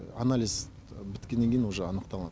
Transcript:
анализ біткеннен кейін уже анықталады